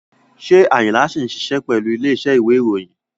Ṣé Ayinla ṣì ń ṣiṣẹ́ pẹ̀lú ilé iṣẹ́ ìwé ìròyìn?